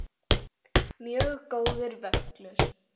Mjög góður völlur.